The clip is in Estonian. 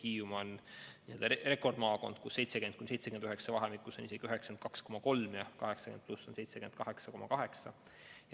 Hiiumaa on rekordmaakond, kus 70–79 vahemikus on hõlmatud isegi 92,3% ja 80+ vanuserühmas 78,8%.